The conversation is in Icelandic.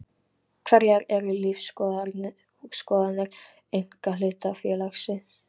Hverjar eru lífsskoðanir einkahlutafélags?